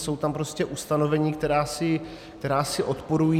Jsou tam prostě ustanovení, která si odporují.